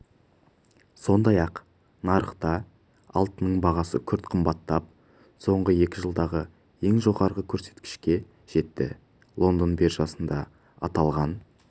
сондай-ақ нарықта алтынның бағасы күрт қымбаттап соңғы екі жылдағы ең жоғарғы көрсеткішке жетті лондон биржасында аталған